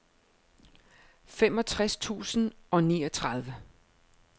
femogtres tusind og niogtredive